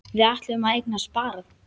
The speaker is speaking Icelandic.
Við ætluðum að eignast barn.